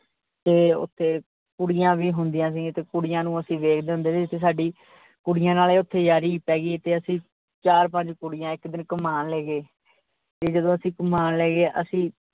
ਤੇ ਓਥੇ ਕੁੜੀਆਂ ਵੀ ਹੁੰਦੀਆਂ ਸੀ, ਤੇ ਕੁੜੀਆਂ ਨੂੰ ਅਸੀਂ ਵੇਖਦੇ ਹੁੰਦੇ ਸੀ ਤੇ ਸਾਡੀ ਕੁੜੀਆਂ ਨਾਲ ਓਥੇ ਯਾਰੀ ਪੈਗੀ, ਤੇ ਅਸੀਂ ਚਾਰ ਪੰਜ ਕੁੜੀਆਂ ਇਕ ਦਿਨ ਘੁਮਾਣ ਲੈਗੇ, ਤੇ ਜਦੋਂ ਅਸੀਂ ਘੁਮਾਣ ਲੈਗੇ ਅਸੀਂ।